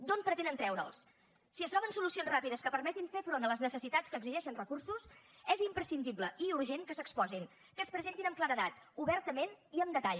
d’on pretenen treure’ls si es troben solucions ràpides que permetin fer front a les necessitats que exigeixen recursos és imprescindible i urgent que s’exposin que es presentin amb claredat obertament i amb detall